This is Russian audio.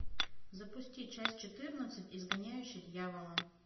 запусти часть четырнадцать изгоняющий дьявола